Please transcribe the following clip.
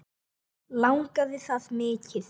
Langaði það mikið.